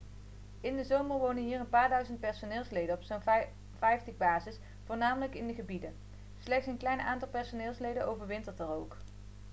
in de zomer wonen hier een paar duizend personeelsleden op zo'n vijftig bases voornamelijk in die gebieden slechts een klein aantal personeelsleden overwintert er ook